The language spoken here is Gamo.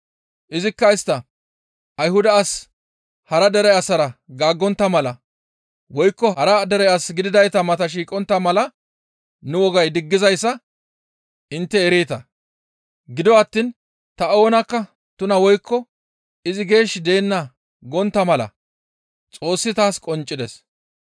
Izikka isttas, «Ayhuda asi hara dere asara gaaggontta mala woykko hara dere as gididayta mata shiiqontta mala nu wogay diggizayssa intte ereeta; gido attiin ta oonakka tuna woykko izi geesh deenna gontta mala Xoossi taas qonccisides.